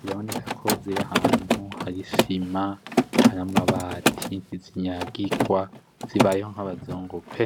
Biraboneka ko ziri ahantu hari isima, hari amabati, ntizinyagirwa zibayeho nkabazungu pe!